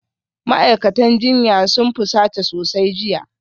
Ma'aikatan jinya sun fusata sosai jiya